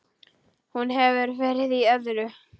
Hún hefur verið í öðru.